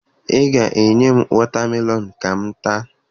Ị ga-enye m wọta melọn ka m taa